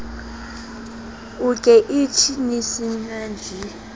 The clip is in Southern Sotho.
uke ichi ni san ji